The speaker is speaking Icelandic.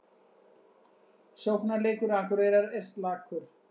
Sóknarleikur Akureyrar er slakur